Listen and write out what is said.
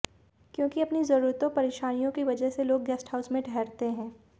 क्यो कि अपनी जरूरतों परेशानियों की वजह से लोग गेस्टहाउस में ठहरते हैं